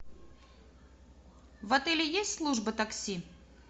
в отеле есть служба такси